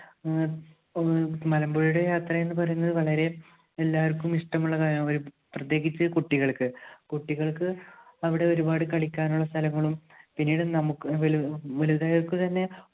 ആഹ് മലമ്പുഴയുടെ യാത്ര എന്ന് പറയുന്നത് വളരെ എല്ലാവർക്കും ഇഷ്ടമുള്ള കാര്യമാണ്. പ്രത്യേകിച്ച് കുട്ടികൾക്ക്. കുട്ടികൾക്ക് അവിടെ ഒരുപാട് കളിക്കാനുള്ള സ്ഥലങ്ങളും പിന്നീട് നമുക്ക് വലു~വലുതായവർക്കുതന്നെ